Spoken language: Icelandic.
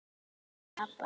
Hjá pabba